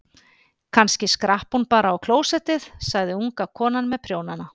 Kannski skrapp hún bara á klósettið, sagði unga konan með prjónana.